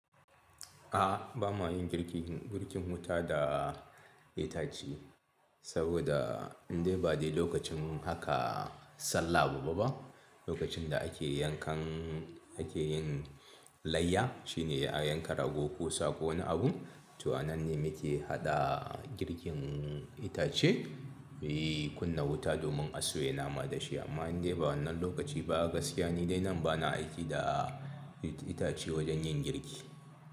A ba ma yin girkin wuta da itace saboda inde ba dai lokacin haka sallah ba. Lokacin da ake yankan ake yin layya shine a yanka rago, ko sa ko wani abun. To anan ne muke haɗa girkin itace muyi kunna wuta domin a soya nama dashi amma inde ba wannan lokaci ba gaskiya nide nan bana amfani da ice itace wajen yin girki.